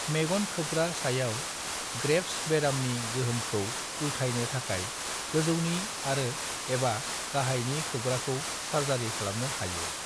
मेगन खोबग्रा सायाव ग्रेव्स बेरामनि गोहोमखौ उलथायनो थाखाय गोजौनि आरो/एबा गाहायनि खोबग्राखौ सार्जारि खालामनो हायो।